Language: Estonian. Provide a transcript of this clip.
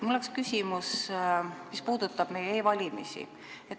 Mul on küsimus, mis puudutab e-valimisi.